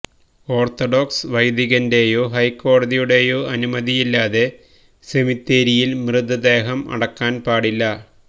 orthodox വൈദികന്റെയോ ഹൈക്കോടതിയുടെയോ അനുമതിയില്ലാതെ സെമിത്തേരിയില് മൃതദേഹം അടക്കാന് പാടില്ല